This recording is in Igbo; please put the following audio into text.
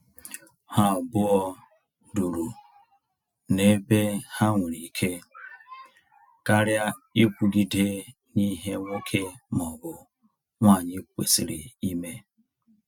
Ha abụọ duru na-ebe ha nwere ike, karịa ikwugide na ihe nwoke ma ọ bụ nwanyi kwesịrị ime